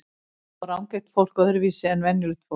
Sjá rangeygt fólk öðruvísi en venjulegt fólk?